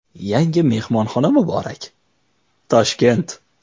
Yangi mehmonxona muborak, Toshkent!